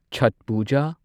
Chhath Puja